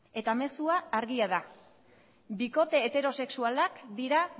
eta mezua argia da bikote heterosexualak dira